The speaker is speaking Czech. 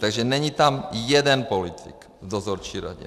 Takže není tam jeden politik v dozorčí radě.